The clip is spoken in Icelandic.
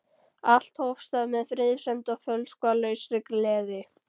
Allt hófst það með friðsemd og fölskvalausri gleði.